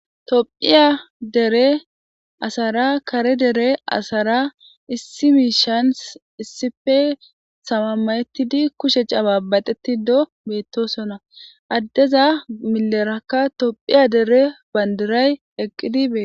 Toophiya dere asara kare dere asara issi miishan issife samamayettidi kushec abaabaxeti do beettosona addeza milerakka tophiya dere bandiray eqqidibe.